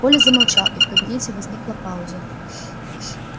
коля замолчал и в кабинете возникла пауза